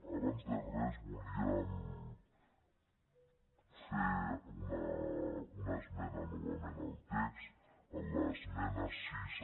abans de res volia fer una esmena novament al text a l’esmena sis